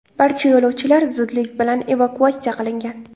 Barcha yo‘lovchilar zudlik bilan evakuatsiya qilingan.